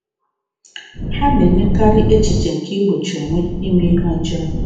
Ha na-enyekarị echiche nke igbochi onwe ime ihe ọjọọ.